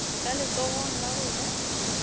ka letsogong la go ja